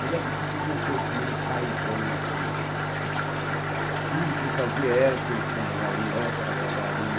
Mas aquele tipo de professor meio paisão, quer dizer, tudo que ele fazia era pensando no aluno, era para agradar o aluno.